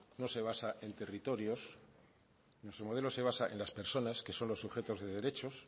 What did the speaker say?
no se basa en territorios nuestro modelo se basa en las personas que son los sujetos de derechos